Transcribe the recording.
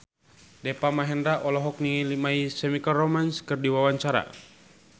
Deva Mahendra olohok ningali My Chemical Romance keur diwawancara